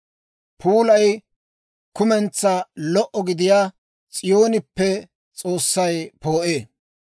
Puulay kumentsaa lo"a gidiyaa S'iyooneppe S'oossay poo'ee.